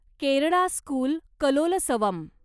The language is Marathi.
केरळा स्कूल कलोलसवम